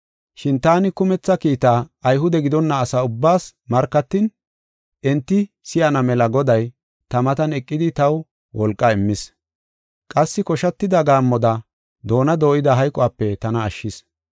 Shin taani kumetha kiitaa Ayhude gidonna asa ubbaas markatin, enti si7ana mela Goday ta matan eqidi taw wolqa immis. Qassi koshatida gaammoda doona dooyida hayquwape tana ashshis.